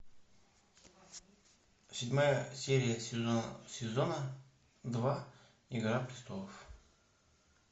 седьмая серия сезона два игра престолов